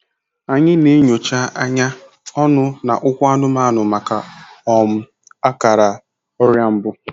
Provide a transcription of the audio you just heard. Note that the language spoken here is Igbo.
Anyị na-enyocha anya, ọnụ, na ụkwụ anụmanụ maka um akara ọrịa mbụ.